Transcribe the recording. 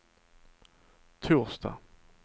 torsdag